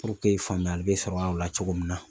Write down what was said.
faamuyali bɛ sɔrɔ a la cogo min na